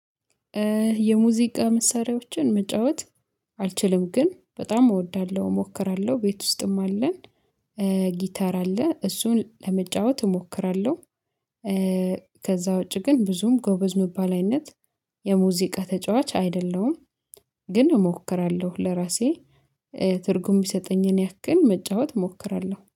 የሙዚቃ መሳሪያዎችን መጫወት አልችልም ግን በጣም እወዳለሁ እሞክራለሁ ቤት ውስጥም አለን። ጊታር አለ እሱን ለመጫወት እሞክራለሁ። ከዛ ውጪ ግን ብዙም ጎበዝ ምባል አይነት የሙዚቃ ተጫዋች አይደለሁም። ግን እሞክራለሁ ለራሴ ትርጉም ሚሰጠኝን ያክል መጫወት እሞክራለሁ